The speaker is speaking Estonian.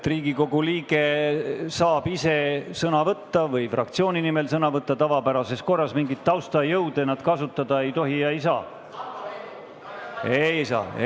Riigikogu liige saab ise või fraktsiooni nimel sõna võtta tavapärases korras, mingeid taustajõude nad kasutada ei tohi ega saa.